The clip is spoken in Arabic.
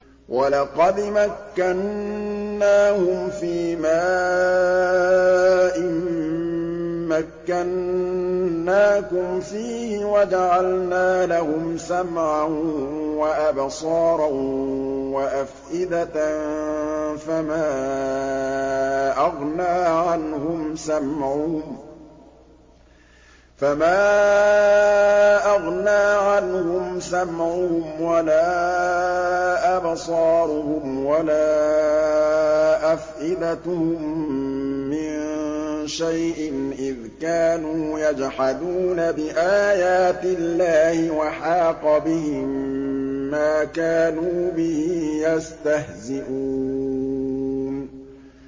وَلَقَدْ مَكَّنَّاهُمْ فِيمَا إِن مَّكَّنَّاكُمْ فِيهِ وَجَعَلْنَا لَهُمْ سَمْعًا وَأَبْصَارًا وَأَفْئِدَةً فَمَا أَغْنَىٰ عَنْهُمْ سَمْعُهُمْ وَلَا أَبْصَارُهُمْ وَلَا أَفْئِدَتُهُم مِّن شَيْءٍ إِذْ كَانُوا يَجْحَدُونَ بِآيَاتِ اللَّهِ وَحَاقَ بِهِم مَّا كَانُوا بِهِ يَسْتَهْزِئُونَ